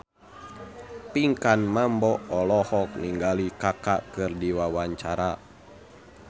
Pinkan Mambo olohok ningali Kaka keur diwawancara